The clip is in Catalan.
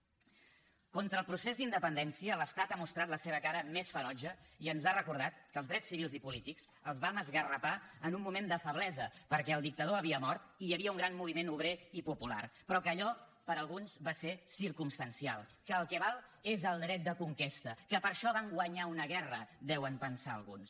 contra el procés d’independència l’estat ha mostrat la seva cara més ferotge i ens ha recordat que els drets civils i polítics els vam esgarrapar en un moment de feblesa perquè el dictador havia mort i hi havia un gran moviment obrer i popular però que allò per a alguns va ser circumstancial que el que val és el dret de conquesta que per això van guanyar una guerra deuen pensar alguns